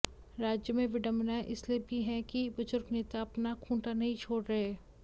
राज्यों में विडंबनाएं इसलिए भी हैं कि बुजुर्ग नेता अपना खूंटा नहीं छोड़ रहे